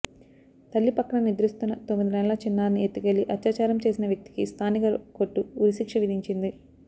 తల్లి పక్కన నిద్రిస్తున్న తొమ్మిది నెలల చిన్నారిని ఎత్తుకెళ్లి అత్యాచారం చేసిన వ్యక్తికి స్థానిక కోర్టు ఉరిశిక్ష విధించింది